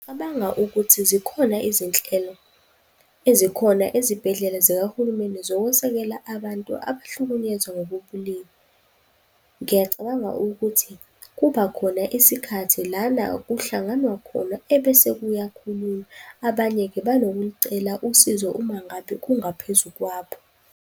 Ngicabanga ukuthi zikhona izinhlelo ezikhona ezibhedlela zikahulumeni zokwesekela abantu abahlukunyezwa ngokobulili. Ngiyacabanga ukuthi kubakhona isikhathi lana kuhlanganwa khona ebese kuyakhulunywa. Abanye-ke banokulucela usizo uma ngabe kungaphezu kwabo.